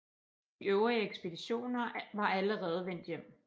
De øvrige ekspeditioner var allerede vendt hjem